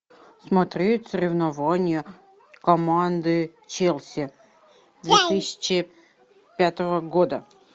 смотреть соревнования команды челси две тысячи пятого года